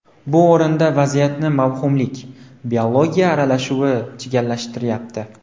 Bu o‘rinda vaziyatni mavhumlik – biologiya aralashuvi chigallashtiryapti.